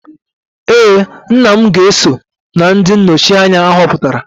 ee, nna m ga-eso na ndị nnọchi anya ahọpụtara